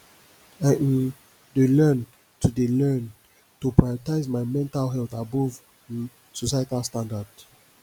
i um dey learn to dey learn to prioritize my mental health above um societal standards